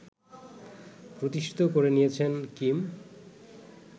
প্রতিষ্ঠিত করে নিয়েছেন কিম